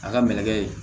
A ka mɛnɛ